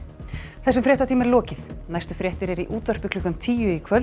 þessum fréttatíma er lokið næstu fréttir eru í útvarpi klukkan tíu í kvöld